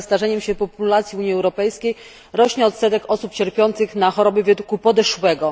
Wraz ze starzeniem się populacji Unii Europejskiej rośnie odsetek osób cierpiących na choroby wieku podeszłego.